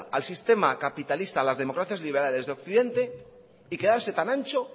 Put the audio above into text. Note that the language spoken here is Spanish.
al sistema capitalista a las democracias liberales de occidente y quedarse tan ancho